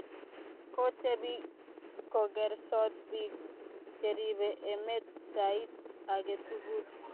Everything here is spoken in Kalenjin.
kotebi kogersot biko cheribe emet sait age tugul